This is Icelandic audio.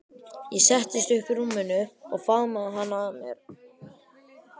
Ég settist upp í rúminu og faðmaði hana að mér.